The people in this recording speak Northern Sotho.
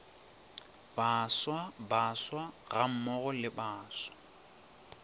baswa baswa gammogo le baswa